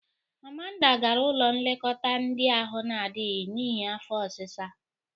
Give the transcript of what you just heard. Amanda gara ụlọ nlekọta ndị ahụ na-adịghị n'ihi afọ ọsịsa.